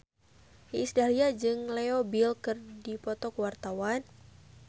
Iis Dahlia jeung Leo Bill keur dipoto ku wartawan